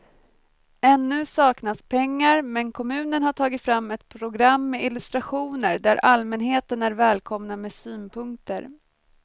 Ännu saknas pengar men kommunen har tagit fram ett program med illustrationer där allmänheten är välkomna med synpunkter.